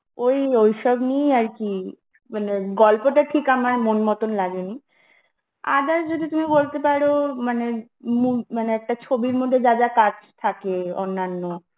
ওই ঐসব নিয়েই আরকি মানে গল্প টা ঠিক আমার মন মতন লাগে নি, others যদি তুমি বলতে পরো মানে মু মানে একটা ছবির মধ্যে যা যা কাজ থাকে অন্যান্য